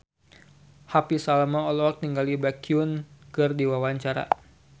Happy Salma olohok ningali Baekhyun keur diwawancara